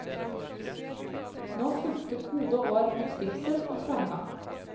Nå fulgte gode år med trivsel og framgang.